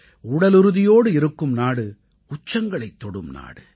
உடலுறுதியோடு இருக்கும் நாடு உச்சங்களைத் தொடும் நாடு